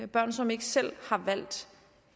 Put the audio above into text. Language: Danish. børn som ikke selv har valgt